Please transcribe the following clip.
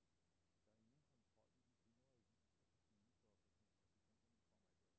Der er ingen kontrol med de hundredvis af parfumestoffer, som fabrikanterne kommer i deres produkter, siger forsker.